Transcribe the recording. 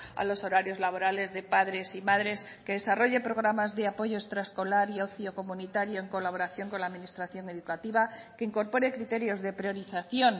a los horarios laborales de padres y madres que desarrolle programas de apoyo extraescolar y ocio comunitario en colaboración con la administración educativa que incorpore criterios de priorización